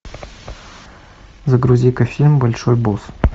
загрузи ка фильм большой босс